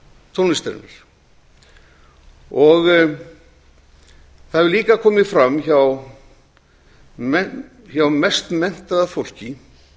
tónlistarinnar það hefur líka komið fram hjá mest menntaða fólki